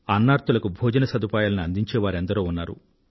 అన్నార్తులకు భోజన సదుపాయాలను అందించే వారు ఎందరో ఉన్నారు